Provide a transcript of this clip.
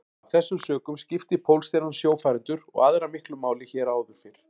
Af þessum sökum skipti Pólstjarnan sjófarendur og aðra miklu máli hér áður fyrr.